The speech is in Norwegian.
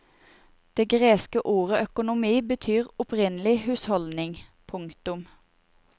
Det greske ordet økonomi betyr opprinnelig husholdning. punktum